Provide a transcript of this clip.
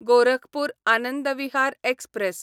Gorakhpur Anand Vihar express